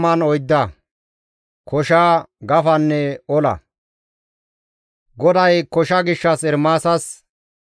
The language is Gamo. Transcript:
GODAY kosha gishshas Ermaasas yootida qaalay hayssafe kaallizayssa;